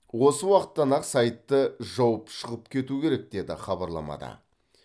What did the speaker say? осы уақыттан ақ сайтты жауып шығып кету керек деді хабарламада